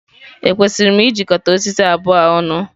Ekwesịrị m ịjikọta osisi abụọ a ọnụ?